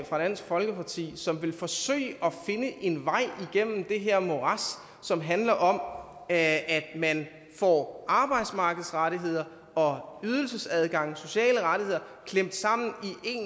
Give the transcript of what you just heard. fra dansk folkeparti som vil forsøge at finde en vej igennem det her morads som handler om at man får arbejdsmarkedsrettigheder og ydelsesadgang sociale rettigheder klemt sammen